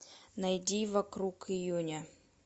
найди вокруг июня